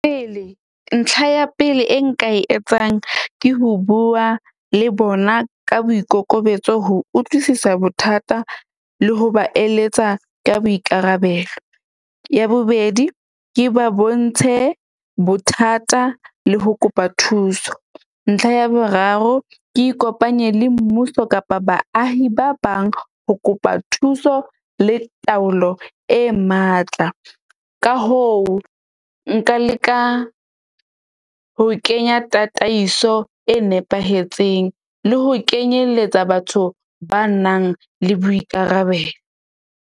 Pele ntlha ya pele e nka e etsang, ke ho bua le bona ka boikokobetso, ho utlwisisa bothata le ho ba eletsa ka boikarabelo. Ya bobedi ke ba bontshe bothata le ho kopa thuso. Ntlha ya boraro ke ikopanye le mmuso kapa baahi ba bang ho kopa thuso le taolo e matla. Ka hoo nka leka ho kenya tataiso e nepahetseng le ho kenyelletsa batho ba nang le boikarabelo.